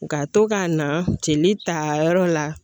Ka to ka na jeli ta yɔrɔ la